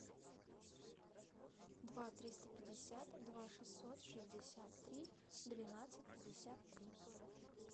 два триста пятьдесят два шестьсот шестьдесят три двенадцать пятьдесят три